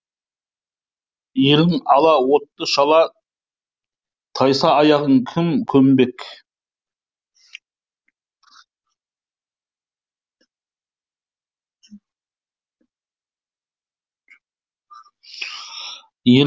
елің ала отты шала тайса аяғың кім көмбек